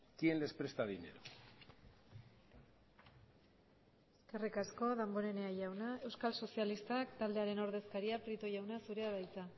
quién les presta dinero eskerrik asko damborenea jauna euskal sozialistak taldearen ordezkaria prieto jauna zurea da hitza